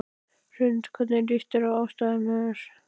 Hrund: Hvernig líst þér á aðstæður?